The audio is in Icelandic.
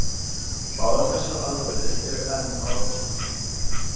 Báðar þessar aðferðir eru enn á rannsóknarstigi.